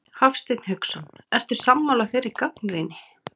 Hafsteinn Hauksson: Ertu sammála þeirri gagnrýni?